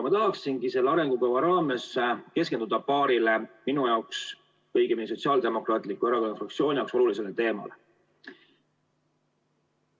Ma tahaksingi selle arengukava raames keskenduda paarile minu või õigemini Sotsiaaldemokraatliku Erakonna fraktsiooni jaoks olulisele teemale.